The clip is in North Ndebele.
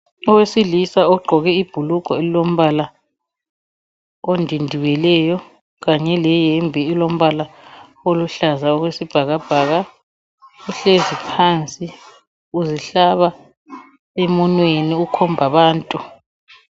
Owesilisa ogqoke ibhulugwe elilombala ondindibeleyo leyembe elombala oluhlaza okwesibhakabhaka uhlezi phansi uzihlaba emunweni ukhombabantu.